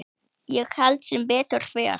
Ég held sem betur fer.